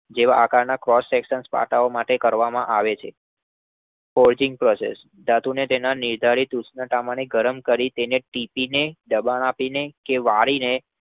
આકારના Cross section ના પાટાઓ વગેરે બનાવવામાં આવે છે. Cross section ધાતુને તેના નિર્ધારિત ઉષ્ણતામાને ગરમ કરી તેને ટીપીને દબાણ આપીને કે વાળીને